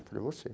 Eu falei, você.